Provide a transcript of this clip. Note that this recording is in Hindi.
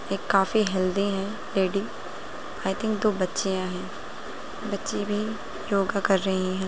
एक काफी हेल्दी हैं लेडी आई थिंक दो बच्चियां हैं बच्ची भी योगा कर रही हैं।